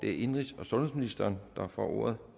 er indenrigs og sundhedsministeren der får ordet